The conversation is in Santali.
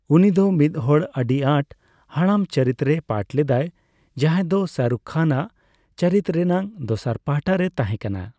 ᱩᱱᱤᱫᱚ ᱢᱤᱫ ᱦᱚᱲ ᱟᱹᱰᱤ ᱟᱸᱴ, ᱦᱟᱲᱟᱢ ᱪᱚᱨᱤᱛ ᱨᱮᱭ ᱯᱟᱴᱷ ᱞᱮᱫᱟᱭ ᱡᱟᱦᱟᱭ ᱫᱚ ᱥᱟᱦᱨᱩᱠᱷ ᱠᱷᱟᱱ ᱟᱜ ᱪᱚᱨᱤᱛ ᱨᱮᱱᱟᱜ ᱫᱚᱥᱟᱨ ᱯᱟᱦᱴᱟ ᱨᱮᱭ ᱛᱟᱦᱮᱸ ᱠᱟᱱᱟ ᱾